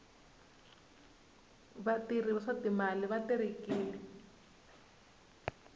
vatirhi va swa timali va terekile